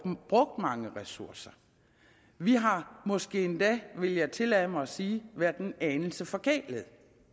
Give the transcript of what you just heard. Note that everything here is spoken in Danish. mange ressourcer vi har måske endda vil jeg tillade mig at sige været en anelse forkælede